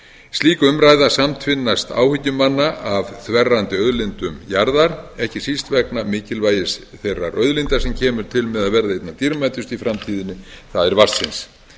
slík umræða samtvinnast áhyggjum manna af þverrandi auðlindum jarðar ekki síst vegna mikilvægis þeirrar auðlindar sem kemur til með að verða einna dýrmætust í framtíðinni það er vatnsins